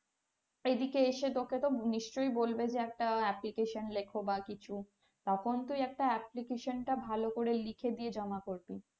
এদিকে এসে তোকে তো নিশ্চয়ই বলবে যে একটা application লেখ বা কিছু তখন তুই একটা application টা ভালো করে লিখে দিয়ে জমা করবি।